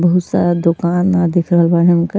बहुत सारा दुकान आ दिख रहल बानी उनका।